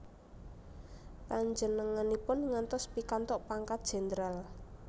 Panjenenganipun ngantos pikantuk pangkat jendral